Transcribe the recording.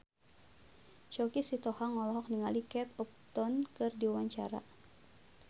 Choky Sitohang olohok ningali Kate Upton keur diwawancara